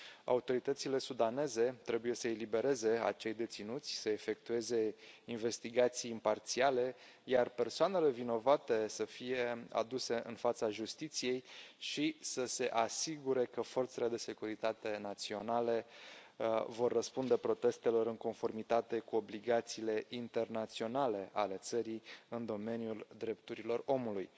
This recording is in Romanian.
Autoritățile sudaneze trebuie să elibereze acei deținuți, să efectueze investigații imparțiale, iar persoanele vinovate să fie aduse în fața justiției și să se asigure că forțele de securitate naționale vor răspunde protestelor în conformitate cu obligațiile internaționale ale țării în domeniul drepturilor omului.